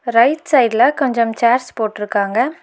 Right சைட்ல கொஞ்சம் chairs போட்ருக்காங்க.